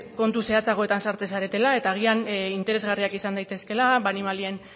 kontu zehatzagoetan sartzen zaretela eta agian interesgarriak izan daitezkeela animalien